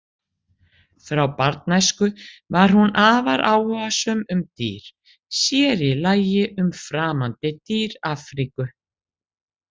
Frá barnæsku var hún afar áhugasöm um dýr, sér í lagi um framandi dýr Afríku.